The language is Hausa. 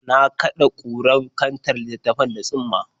Na kaɗe kurar kantar littattafan da tsumma.